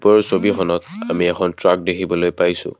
ওপৰৰ ছবিখনত আমি এখন ট্ৰাক দেখিবলৈ পাইছোঁ।